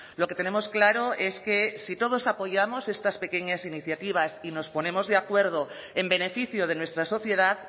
lo que tenemos claro es que si todos apoyamos estas pequeñas iniciativas y nos ponemos de acuerdo en beneficio de nuestra sociedad